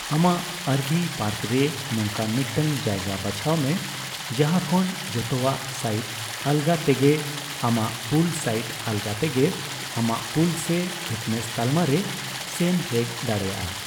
ᱟᱢᱟᱜ RV park ᱨᱮ ᱱᱚᱝᱠᱟᱱ ᱢᱤᱫᱴᱟᱝ ᱡᱟᱭᱜᱟ ᱵᱟᱪᱷᱟᱣ ᱢᱮ ᱡᱟᱦᱟᱸ ᱠᱷᱚᱱ ᱡᱷᱚᱛᱚᱣᱟᱜ ᱥᱟᱭᱤᱴ ᱟᱞᱜᱟ ᱛᱮᱜᱮ ᱟᱢᱟᱜ ᱯᱩᱞ ᱥᱟᱭᱤᱴ ᱟᱞᱜᱟ ᱛᱮᱜᱮ ᱟᱢᱟᱜ ᱯᱩᱞ ᱥᱮ ᱯᱷᱤᱴᱱᱮᱥ ᱛᱟᱞᱢᱟ ᱨᱮ ᱥᱮᱱ ᱦᱮᱡ ᱫᱟᱲᱮᱭᱟᱜ ᱾